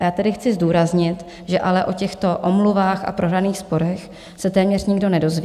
A já tady chci zdůraznit, že ale o těchto omluvách a prohraných sporech se téměř nikdo nedozví.